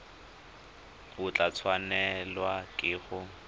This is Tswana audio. o tla tshwanelwa ke go